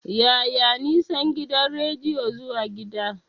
Yaya nisan gidan rediyon zuwa gida?